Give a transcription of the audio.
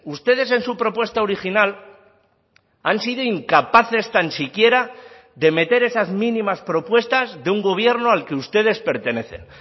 ustedes en su propuesta original han sido incapaces tan siquiera de meter esas mínimas propuestas de un gobierno al que ustedes pertenecen